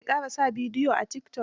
Jar ki ƙara sa bidiyo a tikitok.